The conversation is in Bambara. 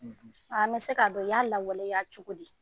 An bɛ se k'a dɔn u y'a lawaleya cogo di